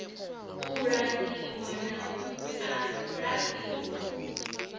u langiwa na u laṱiwa